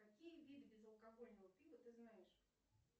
какие виды безалкогольного пива ты знаешь